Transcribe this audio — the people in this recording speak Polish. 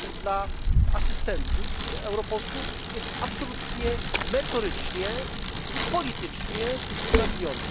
dla asystentów europosłów jest bezwzględnie merytorycznie i politycznie uzasadniony.